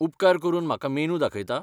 उपकार करून म्हाका मेनू दाखयता?